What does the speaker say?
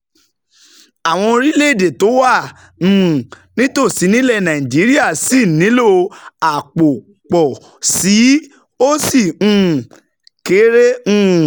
Àwọn orílẹ̀-èdè tó wà um nítòsí nílẹ̀ Nàìjíríà ṣì nílò àpò pọ̀ sí i, ó sì um kéré um